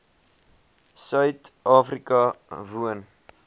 suid afrika woon